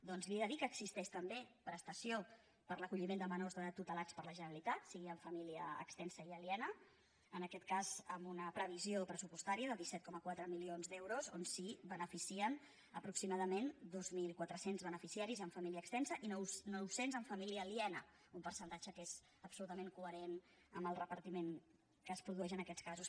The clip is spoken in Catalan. doncs li he de dir que existeix també prestació per a l’acolliment de menors tutelats per la generalitat sigui en família extensa i aliena en aquest cas amb una previsió pressupostària de disset coma quatre milions d’euros on se’n beneficien aproximadament dos mil quatre cents beneficiaris amb fa·mília extens i nou cents amb família aliena un percentatge que és absolutament coherent amb el repartiment que es produeix en aquests casos